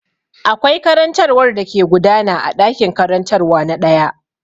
Akwai karantarwa da ke gudana a ɗakin karantarwa na ɗaya.